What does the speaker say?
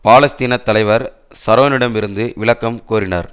பாலஸ்த்தீன தலைவர் ஷரோனிடமிருந்து விளக்கம் கோரினார்